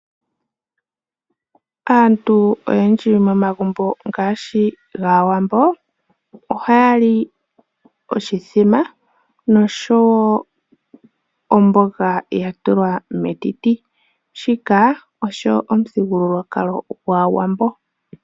Aantu oyendji momagumbo ngaashi gAawambo ohaya li oshithima nosho wo omboga ya tulwa metiti. Shika osho omuthigululwakalo gwaAwambo.